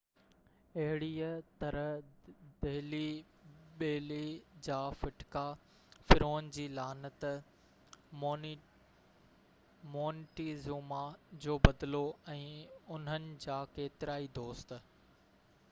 اهڙيءَ طرح دهلي بيلي جا ڦٽڪا فرعون جي لعنت مونٽيزوما جو بدلو ۽ انهن جا ڪيترائي دوست